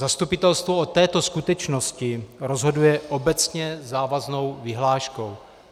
Zastupitelstvo o této skutečnosti rozhoduje obecně závaznou vyhláškou.